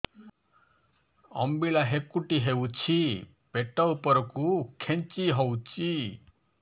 ଅମ୍ବିଳା ହେକୁଟୀ ହେଉଛି ପେଟ ଉପରକୁ ଖେଞ୍ଚି ହଉଚି